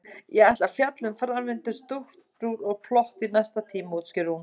Ég ætla að fjalla um framvindu, strúktúr og plott í næsta tíma, útskýrir hún.